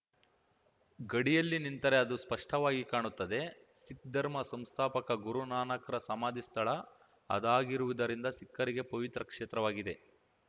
ಗಡಿಯಲ್ಲಿ ನಿಂತರೆ ಅದು ಸ್ಪಷ್ಟವಾಗಿ ಕಾಣುತ್ತದೆ ಸಿಖ್‌ ಧರ್ಮ ಸಂಸ್ಥಾಪಕ ಗುರುನಾನಕ್‌ರ ಸಮಾಧಿ ಸ್ಥಳ ಅದಾಗಿರುವುದರಿಂದ ಸಿಖ್ಖರಿಗೆ ಪವಿತ್ರ ಕ್ಷೇತ್ರವಾಗಿದೆ